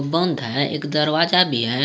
बंद है एक दरवाजा भी है।